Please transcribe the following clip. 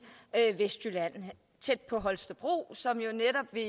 vestjylland tæt på holstebro som jo netop vil